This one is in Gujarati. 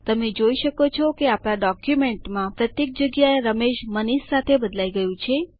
તમે જોઈ શકો છો કે આપણા ડોક્યુમેન્ટમાં પ્રત્યેક જગ્યાએ રમેશ મનીષ સાથે બદલાઈ ગયું છે